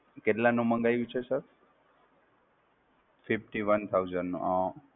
કેટલાં નું મંગાવ્યું છે Sir? Fifty one thousand નું, અઃ